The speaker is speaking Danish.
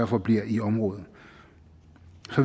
for bliver i området